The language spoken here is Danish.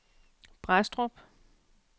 Brædstrup